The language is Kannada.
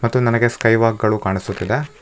ಮತ್ತು ನನಗೆ ಸ್ಕೈ ವಾಕ್ ಗಳು ಕಾಣಿಸುತ್ತಿದೆ.